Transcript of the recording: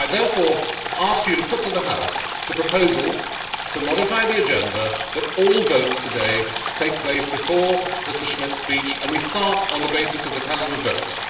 I therefore ask you to put to the House the proposal to modify the agenda that all votes today take place before Mr Schmitt's speech, and we start on the basis of the calendar votes.